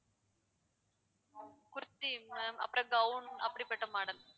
kurti ma'am அப்புறம் gown அப்படிப்பட்ட model